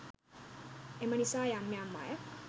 එම නිසා යම් යම් අය